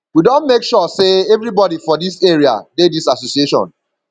we don make sure sey everybodi for dis area dey dis association